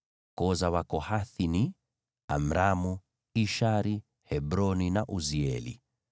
Koo za Wakohathi zilikuwa ni: Amramu, Ishari, Hebroni na Uzieli.